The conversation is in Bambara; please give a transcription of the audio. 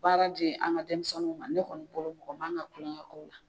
Baara di an ka denmisɛnninw ma ne kɔni bolo mɔgɔ man ka kulonkɛ k'o la